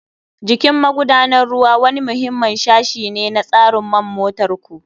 Jikin magudanar ruwa wani muhimmin sashi ne na tsarin man motar ku.